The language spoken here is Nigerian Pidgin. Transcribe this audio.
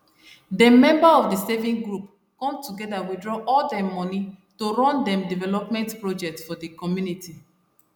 dem member of the saving group come together withdraw all dem money to run dem development project for the community